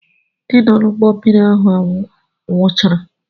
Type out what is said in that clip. Ndị nọ n'ụgbọmmiri ahụ nwụchara.